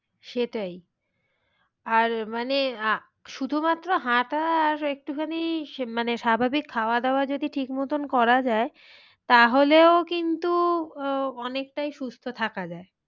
সেটাই আর মানে শুধু মাত্র হাঁটা আর একটুখানি মানে স্বাভাবিক খাওয়া দাওয়া যদি ঠিক মতন করা যায় তাহলেও কিন্তু আহ অনেকটাই সুস্থ থাকা যায়।